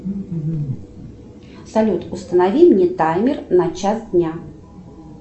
салют установи мне таймер на час дня